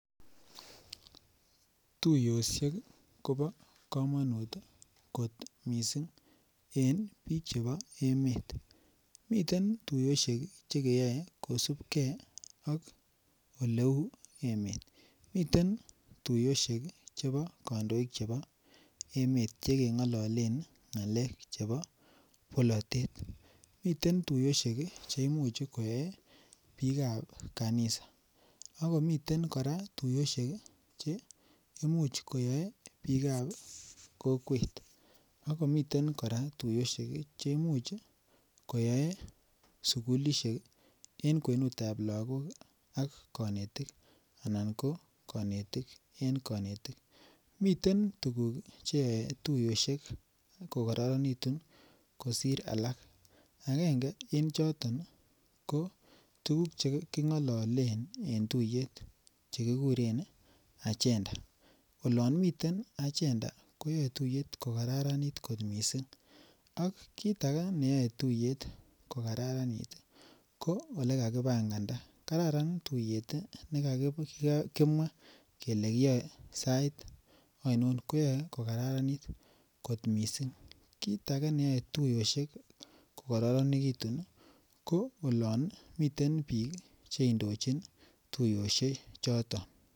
Tukoshek Kobo komonut kot missing en bik chebo emet, miten tukoshek chekeyoe kosibgee ak oleu emet. Miten tukoshek chebo kondoik chebo emet chekengololen ngalek chebo bolotet. Miten tuyoset che imuch koye bik ab kakisa ak komiten Koraa tuyoshek kii che imuch koyoe bikab kokwet, ak komiten Koraa tuyoshek cheimuch koyoe sukulishek en kwenutab lokok ak konetik anan ko konetik en konetik. Miten tukuk cheyoe tuyoshek kokoronekitun kosir alak agenge en choton ko tukuk chekingololen en tuyet chekikuren agenda. Olon miten agenda koyoe tuyet ko kararanit kot missing ak kit age neyoe tuyet ko kararanit tii ko ole kakipanganda kararan tuyet tii nekakimwa kele kiyoe sait oinon koyoe ko kararanit kot missing. Kit age neyoe tuyoshek ko kororonekitun nii ko olon miten bik cheindochin tuyoshek choton.